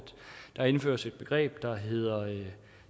der indføres et begreb der hedder